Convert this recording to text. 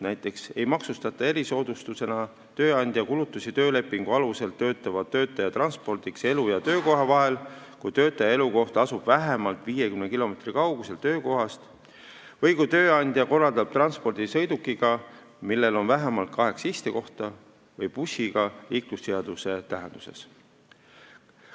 Näiteks ei maksustata erisoodustusena tööandja kulutusi töölepingu alusel töötava töötaja transpordiks elu- ja töökoha vahel, kui töötaja elukoht asub vähemalt 50 kilomeetri kaugusel töökohast või kui tööandja korraldab transpordi sõidukiga, millel on vähemalt kaheksa istekohta, või bussiga liiklusseaduse tähenduses.